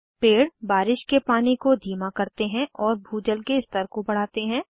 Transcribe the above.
पेड़ बारिश के पानी को धीमा करते हैं और भूजल के स्तर को बढ़ाते हैं